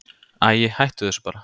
Æi, hættu þessu bara.